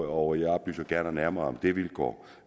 og jeg oplyser gerne nærmere om det vilkår